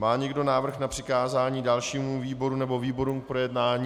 Má někdo návrh na přikázání dalšímu výboru nebo výborům k projednání?